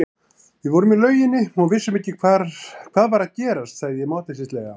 Við vorum í lauginni og vissum ekki hvað var að gerast, sagði ég máttleysislega.